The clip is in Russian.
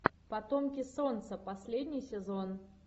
потомки солнца последний сезон